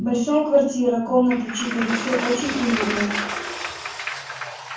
большая квартира комнаты четыре всё очень уютно